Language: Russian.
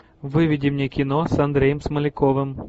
выведи мне кино с андреем смоляковым